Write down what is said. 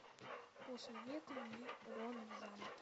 посоветуй мне урод в замке